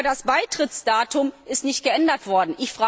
Aber das Beitrittsdatum ist nicht geändert worden.